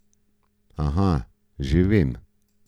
Aha, že vem.